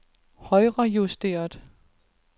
højrejusteret